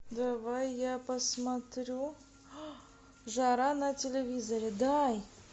давай я посмотрю жара на телевизоре дай